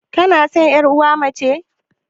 Kanasan yar uwa mace?